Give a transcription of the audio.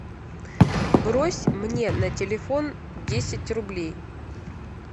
брось мне на телефон десять рублей